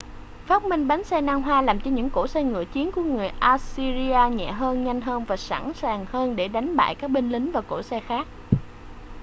phát minh bánh xe nan hoa làm cho những cỗ xe ngựa chiến của người assyria nhẹ hơn nhanh hơn và sẵn sàng hơn để đánh bại các binh lính và cỗ xe khác